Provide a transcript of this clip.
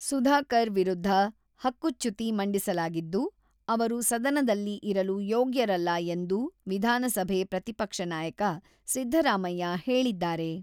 ಸುಧಾಕರ್ ವಿರುದ್ಧ ಹಕ್ಕುಚ್ಯುತಿ ಮಂಡಿಸಲಾಗಿದ್ದು, ಅವರು ಸದನದಲ್ಲಿ ಇರಲು ಯೋಗ್ಯರಲ್ಲ ಎಂದು ವಿಧಾನಸಭೆ ಪ್ರತಿಪಕ್ಷ ನಾಯಕ ಸಿದ್ದರಾಮಯ್ಯ ಹೇಳಿದ್ದಾರೆ.